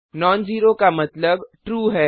known zero का मतलब true है